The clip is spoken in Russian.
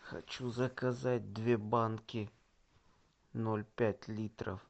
хочу заказать две банки ноль пять литров